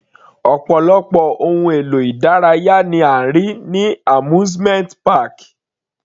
Ọ̀pọ̀lọpọ̀ ohun èlò ìdárayá ni a rí ní amusement park.